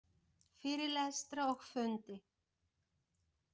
Fyrirlestra og fundi.